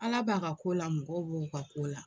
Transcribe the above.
Ala b'a ka ko la mɔgɔw b'o ka ko la.